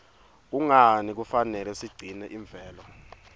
kungani kufanele sigcine imvelo